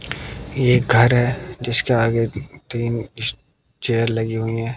ये एक घर है जिसके आगे तीन स चेयर लगी हुई है।